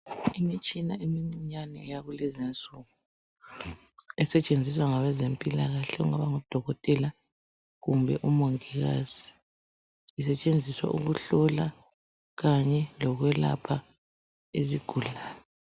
Imitshina emincinyane yakulezinsuku esetshenziswa ngabeze mpilakahle okungango dokotela kumbe omongikazi isetshenziswa ukuhlola kanye lokwelapha izigulani